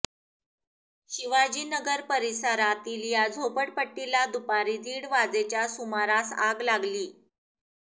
शिवाजीनगर परिसरातील या झोपडपट्टीला दुपारी दीड वाजेच्या सुमारास आग लागली